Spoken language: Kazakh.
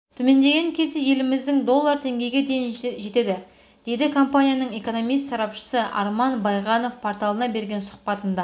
төмендеген кезде елімізде доллар теңгеге дейін жетеді дейді компаниясының экономист-сарапшысы арман байғанов порталына берген сұхбатында